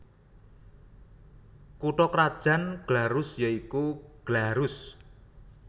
Kutha krajan Glarus ya iku Glarus